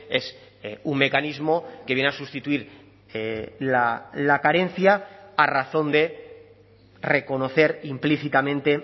es un mecanismo que viene a sustituir la carencia a razón de reconocer implícitamente